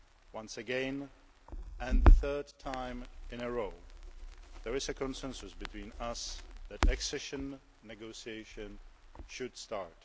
Once again and the third time in a row there is a consensus between us that accession negotiations should start.